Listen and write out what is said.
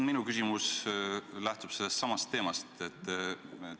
Minu küsimus lähtub sellestsamast teemast.